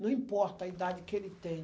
Não importa a idade que ele tem.